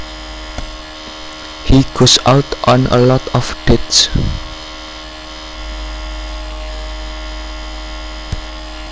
He goes out on a lot of dates